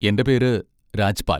എൻ്റെ പേര് രാജ്പാൽ.